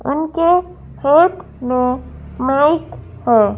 उनके हेथ में माइक है।